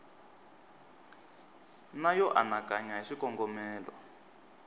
na yo anakanya hi swikongomelo